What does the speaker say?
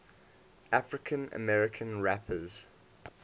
african american rappers